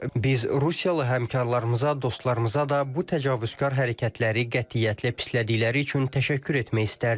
Biz Rusiyalı həmkarlarımıza, dostlarımıza da bu təcavüzkar hərəkətləri qətiyyətlə pislədikləri üçün təşəkkür etmək istərdik.